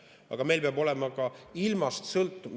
Aga meil peab olema see ka ilmast sõltumatu.